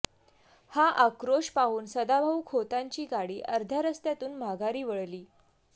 हा आक्रोश पाहून सदाभाउ खोतांची गाडी अर्ध्या रस्त्यातून माघारी वळली